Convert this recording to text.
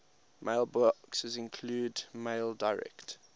mailboxes include maildir